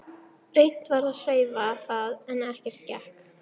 Reynt var að hreyfa það en ekkert gekk.